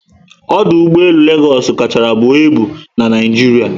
Ọdụ ụgbọelu Legosu kachárá buo ịbu na Naijiria